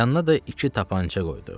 Yanına da iki tapança qoydu.